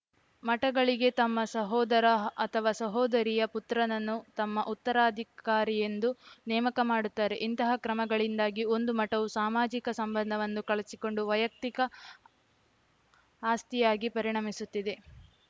ಮಠಗಳಿಗೆ ತಮ್ಮ ಸಹೋದರ ಅಥವಾ ಸಹೋದರಿಯ ಪುತ್ರನನ್ನು ತಮ್ಮ ಉತ್ತರಾಧಿಕಾರಿಯೆಂದು ನೇಮಕ ಮಾಡುತ್ತಾರೆ ಇಂತಹ ಕ್ರಮಗಳಿಂದಾಗಿ ಒಂದು ಮಠವು ಸಾಮಾಜಿಕ ಸಂಬಂಧವನ್ನು ಕಳಚಿಕೊಂಡು ವೈಯಕ್ತಿಕ ಆಸ್ತಿಯಾಗಿ ಪರಿಣಮಿಸುತ್ತದೆ